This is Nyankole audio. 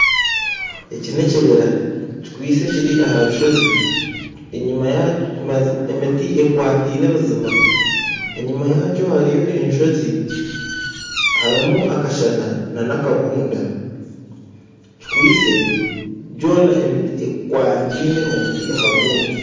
Eki n'ekibiira kikwitsye kiri aha rushoozi emiti ekwataine buzima enyuma yaakyo hariyo enshoozi harimu akashana nakabunda kikwitsye yoona emiti ekwataine omuti aha gundi